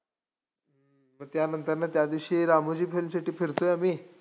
मग त्यानंतरनं त्यादिवशी रामोजी फिल्म सिटी फिरतोय आम्ही,